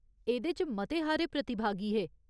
एह्दे च मते हारे प्रतिभागी हे।